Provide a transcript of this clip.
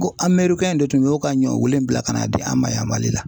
Ko amɛrikɛn de tun bɛ ka ɲɔ wilen bila ka n'a di an ma yan Mali la.